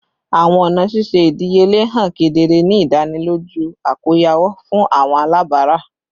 Awọn ọna ṣiṣe idiyele han kedere, ni idaniloju akoyawo fun awọn alabara